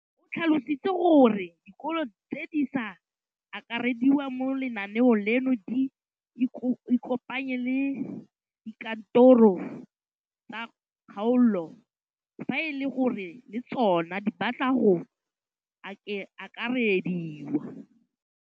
O tlhalositse gore dikolo tse di sa akarediwang mo lenaaneng leno di ikopanye le dikantoro tsa kgaolo fa e le gore le tsona di batla go akarediwa.